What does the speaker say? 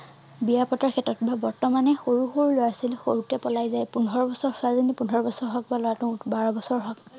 বিয়া পতাৰ ক্ষেত্ৰত বা বৰ্তমান এই সৰু সৰু লৰা ছোৱালী সৰু তেই পলাই যায় পোন্ধৰ বছৰ ছোৱালী জনী পোন্ধৰ বছৰ হওঁক বা লৰাটো বাৰ বছৰ হওঁক